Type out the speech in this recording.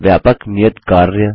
व्यापक नियत कार्य